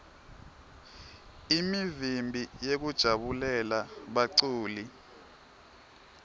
imivimbi yekujabulela baculi